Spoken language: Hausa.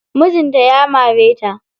Mijin ta ya mare ta.